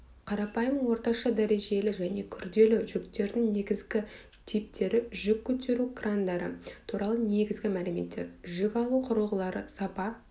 қарапайым орташа дәрежелі және күрделі жүктердің негізгі типтері жүк көтеру крандары туралы негізгі мәліметтер жүк алу құрылғылары сапа